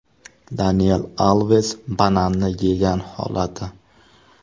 Daniel Alves bananni yegan holati.